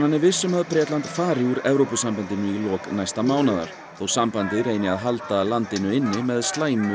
er viss um að Bretland fari úr Evrópusambandinu í lok næsta mánaðar þótt sambandið reyni að halda landinu inni með slæmu